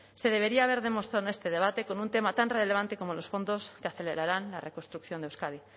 se debería haber demostrado en este debate con un tema tan relevante como los fondos que acelerarán la reconstrucción de euskadi